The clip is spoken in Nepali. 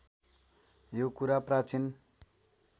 यो कुरा प्राचीन